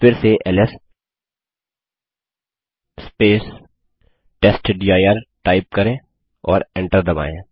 फिर से ls testdir type करें और एंटर दबायें